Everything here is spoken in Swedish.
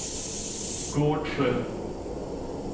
Gårdsjö